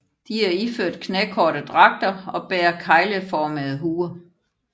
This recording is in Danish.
De er iført knækorte dragter og bærer kegleformede huer